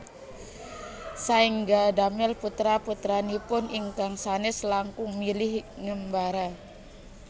Saéngga damel putra putranipun ingkang sanes langkung milih ngembara